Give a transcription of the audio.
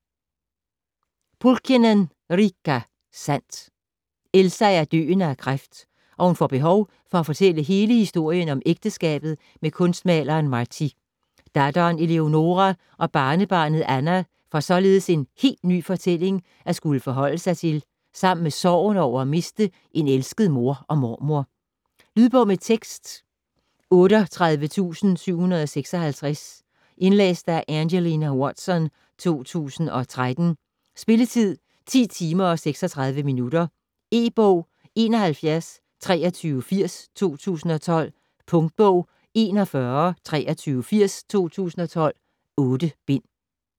Pulkkinen, Riikka: Sandt Elsa er døende af kræft, og hun får behov for at fortælle hele historien om ægteskabet med kunstmaleren Martti. Datteren Eleonoora og barnebarnet Anna får således en helt ny fortælling at skulle forholde sig til sammen med sorgen over at miste en elsket mor og mormor. Lydbog med tekst 38756 Indlæst af Angelina Watson, 2013. Spilletid: 10 timer, 36 minutter. E-bog 712380 2012. Punktbog 412380 2012. 8 bind.